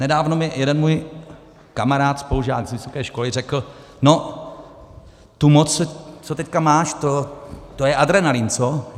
Nedávno mi jeden můj kamarád, spolužák z vysoké školy, řekl: No, tu moc, co teďka máš, to je adrenalin, co? -